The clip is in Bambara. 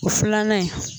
O filanan in